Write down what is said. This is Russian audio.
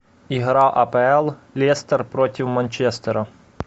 игра апл лестер против манчестера